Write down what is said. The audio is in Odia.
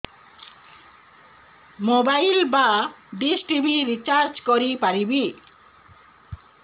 ମୋବାଇଲ୍ ବା ଡିସ୍ ଟିଭି ରିଚାର୍ଜ କରି ପାରିବି